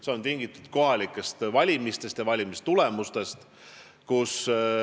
See on tingitud kohalikest valimistest ja valimistulemustest.